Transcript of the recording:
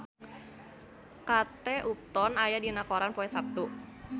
Kate Upton aya dina koran poe Saptu